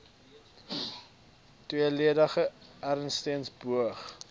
tweeledig eerstens beoog